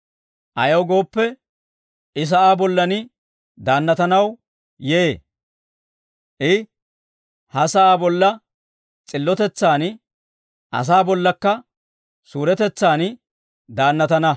Ayaw gooppe, I sa'aa bollan daannatanaw yee. I ha sa'aa bolla s'illotetsan, asaa bollakka suuretetsan daannatana.